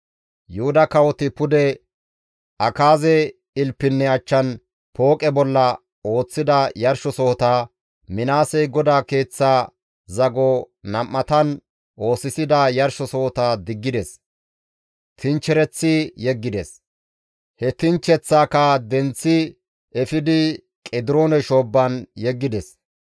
Yuhuda kawoti pude Akaaze ilpinne achchan pooqe bolla ooththida yarshosohota, Minaasey GODAA Keeththa zago nam7atan oosisida yarshosohota diggides; tinchchereththi yeggides; he tinchcheththaaka denththi efidi Qediroone shoobban yeggides.